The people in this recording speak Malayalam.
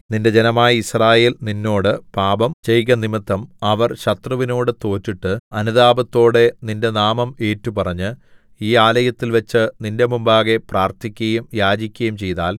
നിന്റെ ജനമായ യിസ്രായേൽ നിന്നോട് പാപം ചെയ്കനിമിത്തം അവർ ശത്രുവിനോട് തോറ്റിട്ട് അനുതാപത്തോടെ നിന്റെ നാമം ഏറ്റുപറഞ്ഞ് ഈ ആലയത്തിൽവെച്ച് നിന്റെ മുമ്പാകെ പ്രാർത്ഥിക്കയും യാചിക്കയും ചെയ്താൽ